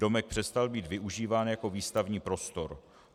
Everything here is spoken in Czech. Domek přestal být využíván jako výstavní prostor.